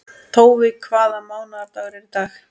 Tói, hvaða mánaðardagur er í dag?